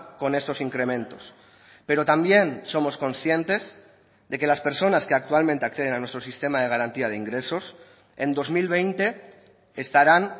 con estos incrementos pero también somos conscientes de que las personas que actualmente acceden a nuestro sistema de garantía de ingresos en dos mil veinte estarán